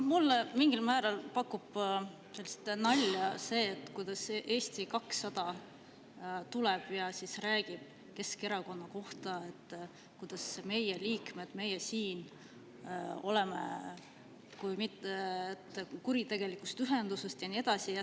No mulle mingil määral pakub nalja see, et Eesti 200 tuleb ja räägib Keskerakonna kohta, et selle liikmed, meie siin oleme kuritegelikust ühendusest ja nii edasi.